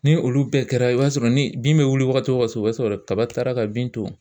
Ni olu bɛɛ kɛra i b'a sɔrɔ ni bin bɛ wuli wagati o wagati i b'a sɔrɔ kaba taara ka bin to.